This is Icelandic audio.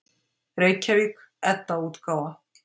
Reykjavík: Edda-útgáfa.